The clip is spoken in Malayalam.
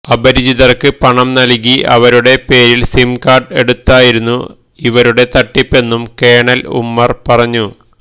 അപരിചിതർക്ക് പണം നൽകി അവരുടെ പേരിൽ സിം കാർഡ് എടുത്തായിരുന്നു ഇവരുടെ തട്ടിപ്പെന്നും കേണൽ ഉമർ പറഞ്ഞു